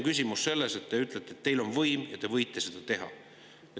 Küsimus on selles, et te ütlete, et teil on võim ja te võite seda teha.